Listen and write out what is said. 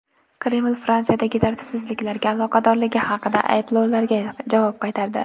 Kreml Fransiyadagi tartibsizliklarga aloqadorligi haqidagi ayblovlarga javob qaytardi.